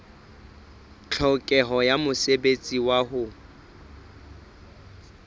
tlhokeho ya mosebetsi wa ho